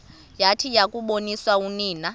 yathi yakuboniswa unina